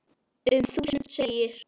Um þúsund segir